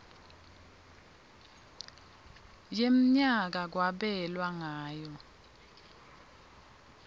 wemnyaka kwabelwa ngayo